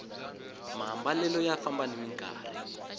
maambalelo ya famba nimi nkarhi